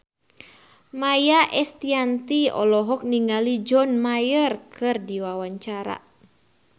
Maia Estianty olohok ningali John Mayer keur diwawancara